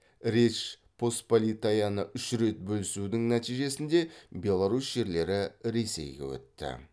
речь посполитаяны үш рет бөлісудің нәтижесінде беларусь жерлері ресейге өтті